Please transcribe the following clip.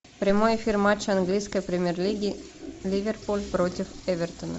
прямой эфир матча английской премьер лиги ливерпуль против эвертона